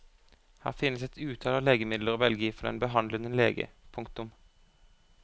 Her finnes et utall av legemidler å velge i for den behandlende lege. punktum